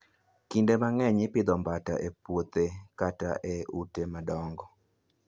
Kinde mang'eny, ipidho Mbata e puothe kata e ute madongo.